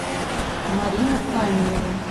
марину каменеву